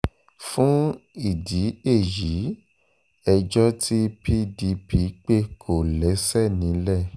fún ìdí èyí ẹjọ́ tí pdp pé kò lẹ́sẹ̀ nílẹ̀